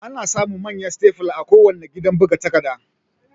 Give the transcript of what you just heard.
Ana samun Manyan Stepler a kuwanna gidan buga takarda